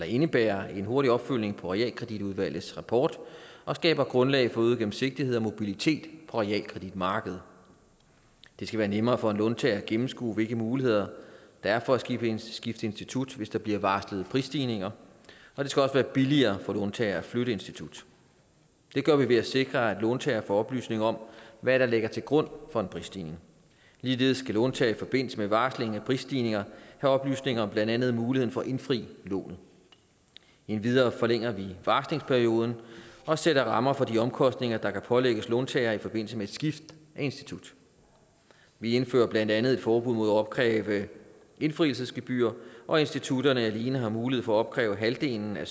indebærer en hurtig opfølgning på realkreditudvalgets rapport og skaber grundlag for øget gennemsigtighed og mobilitet på realkreditmarkedet det skal være nemmere for låntagere at gennemskue hvilke muligheder der er for at skifte institut hvis der bliver varslet prisstigninger og det skal også være billigere for låntagere at flytte institut det gør vi ved at sikre at låntager får oplysninger om hvad der ligger til grund for en prisstigning ligeledes skal låntager i forbindelse med varsling af prisstigninger have oplysninger om blandt andet muligheder for at indfri lånet endvidere forlænger vi varslingsperioden og sætter rammer for de omkostninger der kan pålægges låntager i forbindelse med skift af institut vi indfører blandt andet forbud mod opkrævning af indfrielsesgebyr og institutterne har alene mulighed for at opkræve halvdelen af